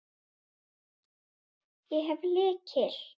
Ég hef lykil.